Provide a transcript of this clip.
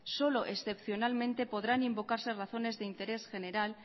solo excepcionalmente podrán invocarse razones de interés general